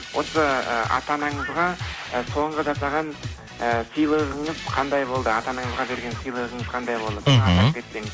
осы ы ата анаңызға ы соңғы жасаған ы сыйлығыңыз қандай болды ата анаңызға берген сыйлығыңыз қандай болды мхм соны атап кетсеңіз